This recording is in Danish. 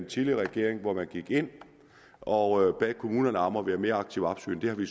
tidligere regering hvor man gik ind og bad kommunerne om at være mere aktivt opsøgende har vi